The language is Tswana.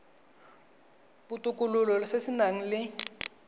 botokololo se se nang le